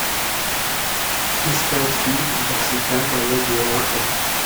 искать фильм навсегда моя девушка